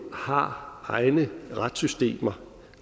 har egne retssystemer